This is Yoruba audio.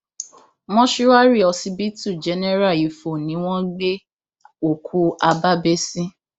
mòṣùárì ọsibítù jẹnẹra ifo ni wọn gbé òkú habábéh sí